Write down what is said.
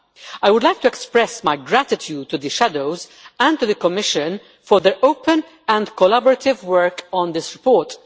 I would like to express my gratitude to the shadows and to the Commission for their open and collaborative work on this report.